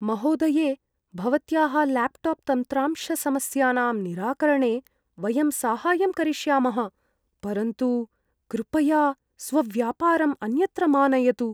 महोदये, भवत्याः ल्याप्टाप् तन्त्रांशसमस्यानां निराकरणे वयं साहाय्यं करिष्यामः, परन्तु कृपया स्वव्यापारम् अन्यत्र मा नयतु।